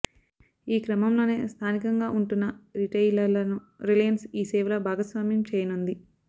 ఈ క్రమంలోనే స్థానికంగా ఉంటున్న రిటెయిలర్లను రిలయన్స్ ఈ సేవలో భాగస్వామ్యం చేయనుంది